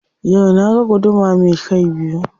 Yau na ga guduma me kai biyu.